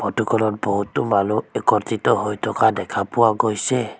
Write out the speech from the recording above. Photo খনত বহুতো মানুহ একত্ৰিত হৈ থকা দেখা পোৱা গৈছে।